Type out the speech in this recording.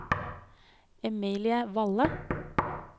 Emilie Valle